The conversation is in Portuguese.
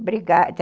Obrigada...